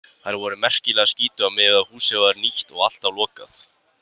Þær voru merkilega skítugar miðað við að húsið var nýtt og alltaf lokað.